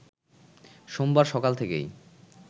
সোমবার সকাল থেকেই